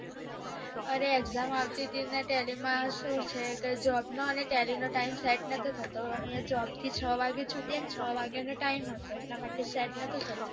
અરે exam આવતું હતું tally માં ધુ છે કે job અને tally નો timeset નથી થતો અને job માં છ વાગે છુત્યે અને છ વાગે નો time હતો